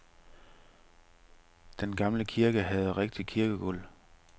Den gamle kirke havde rigtigt kirkegulv.